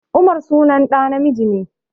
Umar sunan ɗa namiji